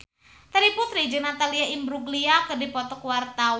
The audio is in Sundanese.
Terry Putri jeung Natalie Imbruglia keur dipoto ku wartawan